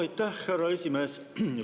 Aitäh, härra esimees!